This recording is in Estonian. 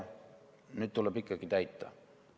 Nüüd tuleb ikkagi täita.